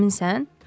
Sən əminsən?